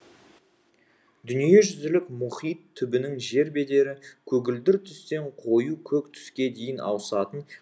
дүниежүзілік мұхит түбінің жер бедері көгілдір түстен қою көк түске дейін ауысатын